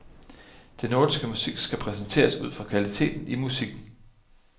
Den nordiske musik skal præsenteres ud fra kvaliteten i musikken.